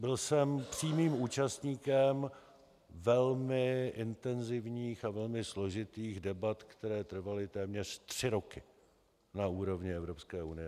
Byl jsem přímým účastníkem velmi intenzivních a velmi složitých debat, které trvaly téměř tři roky na úrovni Evropské unie.